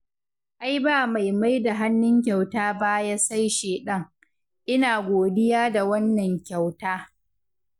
Ai ba mai maida hannun kyauta baya sai shaiɗan, ina godiya da wannan kyauta.